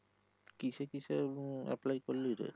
কিসে কিসে um apply করলি রে